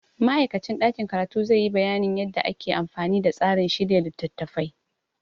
Ma'aikacin ɗakin karatu zai yi bayanin yadda ake amfani da tsarin shirya littattafai.